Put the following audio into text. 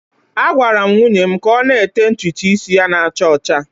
Agwara m nwunye m ka ọ na-ete ntutu isi ya na-acha ọcha